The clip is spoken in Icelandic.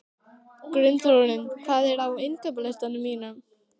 Gunnþórunn, hvað er á innkaupalistanum mínum?